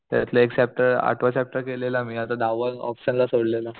त्यातला एक चॅप्टर आठवा चॅप्टर केलेला मी आता दहावा ऑपशन ला सोडलेला